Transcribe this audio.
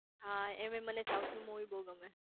હા એમેય મને સાઉથ ની મુવી બઉ ગમે